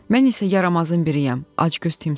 Mən isə yaramazın biriyəm, acgöz timsaham.